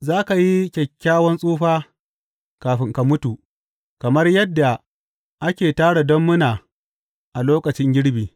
Za ka yi kyakkyawan tsufa kafin ka mutu, kamar yadda ake tara dammuna a lokacin girbi.